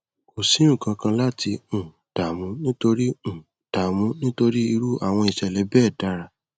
kò sí nkankan láti um dààmú nítorí um dààmú nítorí irú àwọn ìṣẹlẹ bẹẹ dára